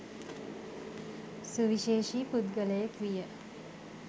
සුවිශේෂී පුද්ගලයෙක් විය.